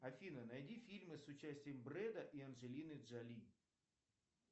афина найди фильмы с участием брэда и анджелины джоли